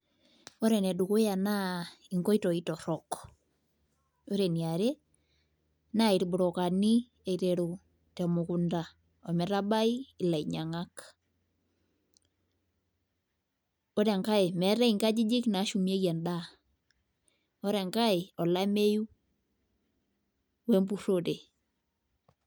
Ore ene dukuya naa inkitoi torok, ore eniare naa irbrokani eiteru te mukunda oo metabai ilainyang'ak. Ore enkae meetai inkajijik naashumieki endaa, ore enkae olameyu we mpurore.